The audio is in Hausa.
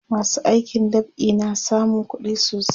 masu aikin dab'i na samun kuɗi sosai